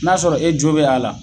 N'a y'a sɔrɔ e jo be a la